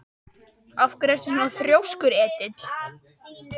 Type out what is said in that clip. Af hverju ertu svona þrjóskur, Edil?